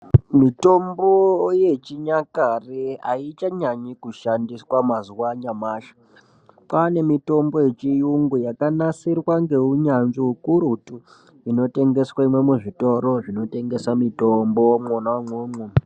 Mitombo yechinyakare aichanyanyi kushandiswa mazuwa anyamashi kwane nemitomb yechiyungu yakanasirwa ngeunyanzvi ukurutu inotengeswe muzvitoro zvinotengesa mutombo mwona umwomwo.